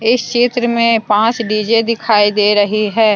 इस चित्र में पांच डी_जे दिखाई दे रहे हैं।